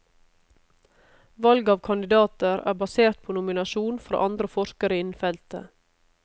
Valget av kandidater er basert på nominasjon fra andre forskere innen feltet.